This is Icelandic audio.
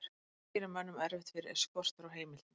það sem gerir mönnum erfitt fyrir er skortur á heimildum